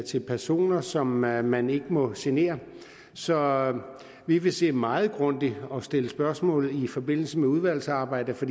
til personer som man man ikke må genere så vi vil se meget grundigt på og stille spørgsmål i forbindelse med udvalgsarbejdet for